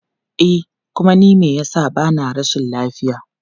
E kuma ni me yasa bana rashin lafiya.